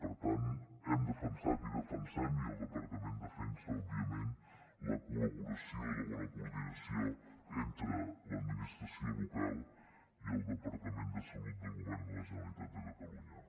per tant hem defensat i defensem i el departament defensa òbviament la col·laboració i la bona coordinació entre l’administració local i el departament de salut del govern de la generalitat de catalunya